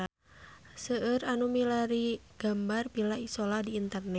Seueur nu milarian gambar Villa Isola di internet